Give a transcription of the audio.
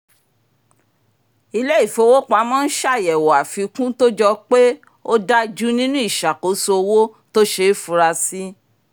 ilé-ìfowópamọ́ n ṣàyẹ̀wò àfikún tó jọ pé ò dájú nínú ìṣàkóso owó tó ṣeé funra sí